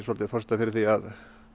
forsendan fyrir því að